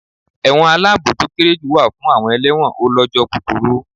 Ẹ̀wọ̀n aláàbò to kéré jù wà fún àwọn elẹ́wọ̀n ó lọ́jọ́ kúkurú.